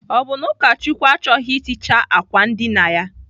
Ọ bụ na Akachukwu achọghị iticha àkwà ndina ya?